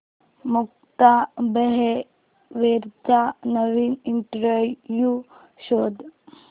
मुक्ता बर्वेचा नवीन इंटरव्ह्यु शोध